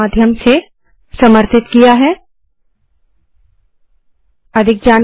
अधिक जानकारी दिए गए लिंक पर उपलब्ध है httpspoken tutorialorgNMEICT Intro I I T Bombay की तरफ से मैं सकीना अब आप से विदा लेती हूँ